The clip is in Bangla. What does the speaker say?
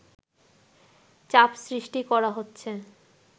চাপ সৃষ্টি করা হচ্ছে”